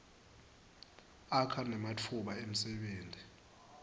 akha nematfuba emsebenti